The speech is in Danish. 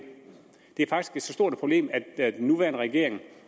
det er faktisk så stort et problem at den nuværende regering